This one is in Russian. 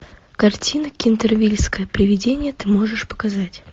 картина кентервильское привидение ты можешь показать